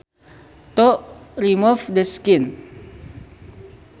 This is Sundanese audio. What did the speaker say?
To remove the skin